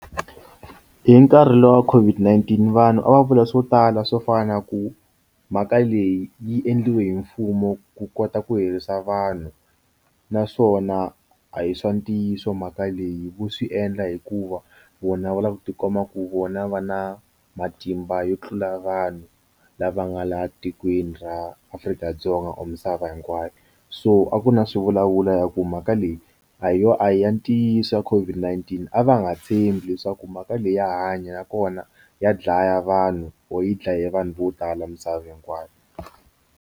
Hi nkarhi lowu wa COVID-19 vanhu a va vula swo tala swo fana na ku mhaka leyi yi endliwe hi mfumo ku kota ku herisa vanhu naswona a hi swa ntiyiso mhaka leyi vo swi endla hikuva vona va lava ku tikuma ku vona va na matimba yo tlula vanhu lava nga la tikweni ra Afrika-Dzonga or misava hinkwayo so a ku na swivulavulo ya ku mhaka leyi a yi yo a ya ntiyiso wa COVID-19 a va nga tshembi leswaku mhaka leyi ya hanya nakona ya dlaya vanhu or yi dlaye vanhu vo tala misava hinkwayo.